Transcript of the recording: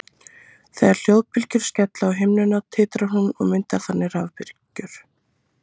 Þegar hljóðbylgjur skella á himnunni titrar hún og myndar þannig rafbylgjur.